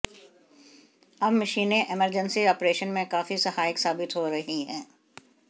अब मशीनें emergency operation में काफी सहायक साबित हो रही हैं